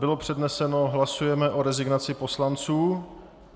Bylo předneseno, hlasujeme o rezignaci poslanců.